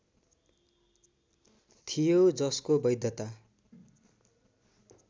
थियो जसको वैधता